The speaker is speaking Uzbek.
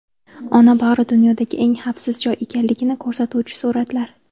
Ona bag‘ri dunyodagi eng xavfsiz joy ekanligini ko‘rsatuvchi suratlar.